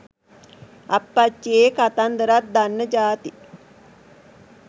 අප්පච්චියේ කතන්දරත් දන්න ජාති